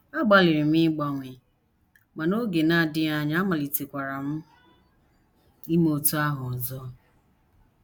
Agbalịrị m ịgbanwe, ma n’oge na - adịghị anya, amalitekwara m ime otú ahụ ọzọ. ”